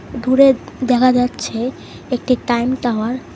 দূরে দেখা যাচ্ছে একটি টাইম টাওয়ার ।